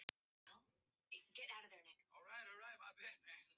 Þegar ég hef strokið burt dimmuna.